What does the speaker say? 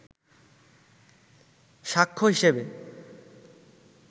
সাক্ষ্য হিসেবে